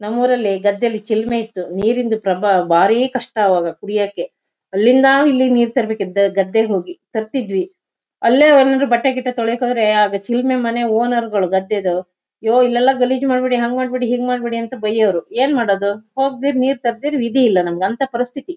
ನಮ್ಮೂರಲ್ಲಿ ಗದ್ದೆಲ್ಲಿ ಚಿಲ್ಮೆ ಇತ್ತು ನೀರಿಂದು ಬಾಳ ಕಷ್ಟ ಅವಾಗ ಕುಡಿಯಕ್ಕೆ ಅಲ್ಲಿಂದ ಇಲ್ಲಿಗೆ ನೀರ್ ತರ್ಬೇಕಿತ್ ಗದ್ ಗದ್ದೆಗ್ ಹೋಗಿ ತರ್ತಿದ್ವಿ ಅಲ್ಲೇ ಏನಾದ್ರು ಬಟ್ಟೆ ಗಿಟ್ಟೆ ತೊಳ್ಯಕ್ ಹೋದ್ರೆ ಆಗ ಚಿಲ್ಮೆ ಮನೆ ಓನರ್ಗಳು ಗದ್ದೆದು ಯೋಹ್ ಇಲ್ಲೆಲ್ಲಾ ಗಲೀಜ್ ಮಾಡ್ಬೇಡಿ ಹಂಗ್ ಮಾಡ್ಬೇಡಿ ಹಿಂಗ್ ಮಾಡ್ಬೇಡಿ ಅಂತ ಬಯ್ಯೋರು ಏನ್ ಮಾಡದು ಹೋಗ್ದಿರ್ ನೀರ್ ತರ್ದಿರ್ ವಿಧಿ ಇಲ್ಲ ನಮ್ಗ್ ಅಂತ ಪರಿಸ್ಥಿತಿ--